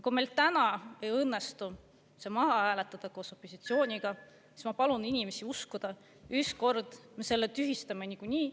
Kui meil täna ei õnnestu see maha hääletada koos opositsiooniga, siis ma palun inimestel uskuda, et ükskord me selle tühistame niikuinii.